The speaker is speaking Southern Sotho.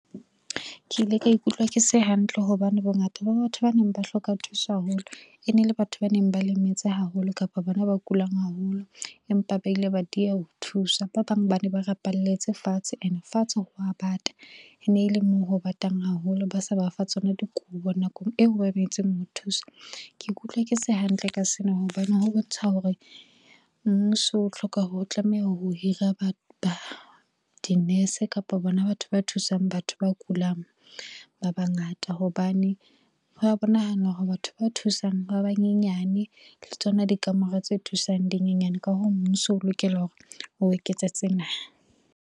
Ke ile ka ikutlwa ke se hantle, hobane bongata ba batho ba neng ba hloka thuso haholo e nele batho ba neng ba lemetse haholo kapa ba na ba kulang haholo, empa ba ile ba dieha ho thuswa. Ba bang ba ne ba rapalletse fatshe ene fatshe ho wa bata e ne e le mo ho batang haholo, ba sa ba fa tsona dikubo nakong eo ho thuswa. Ke ikutlwa ke se hantle ka sena hobane ho bontsha hore mmuso o tlameha ho hira di-nurse kapa bona batho ba thusang batho ba kulang ba bangata. Hobane ho a bonahal hore batho ba thusang ba banyenyane le tsona dikamore tse thusang dinyenyane ka hoo mmuso, o lokela hore o eketsa tsena.